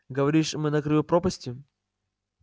говоришь мы на краю пропасти